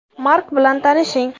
Mark bilan tanishing.